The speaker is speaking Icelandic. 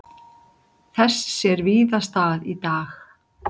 Þess sér víða stað í dag.